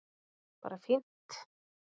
Bara fínt